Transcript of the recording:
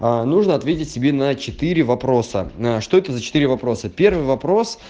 а нужно ответить себе на четыре вопроса что это за четыре вопроса первый вопрос